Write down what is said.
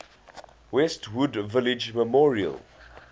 westwood village memorial